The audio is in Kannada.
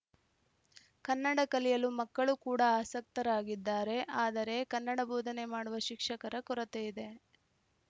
ಕನ್ನಡ ಕಲಿಯಲು ಮಕ್ಕಳು ಕೂಡ ಆಸಕ್ತರಾಗಿದ್ದಾರೆ ಆದರೆ ಕನ್ನಡ ಬೋಧನೆ ಮಾಡುವ ಶಿಕ್ಷಕರ ಕೊರತೆಯಿದೆ